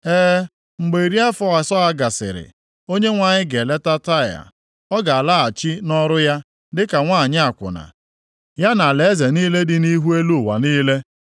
E, mgbe iri afọ asaa gasịrị, Onyenwe anyị ga-eleta Taịa. Ọ ga-alaghachi nʼọrụ ya dịka nwanyị akwụna, ya na alaeze niile dị nʼihu elu ụwa niile.